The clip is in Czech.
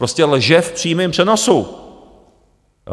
Prostě lže v přímém přenosu.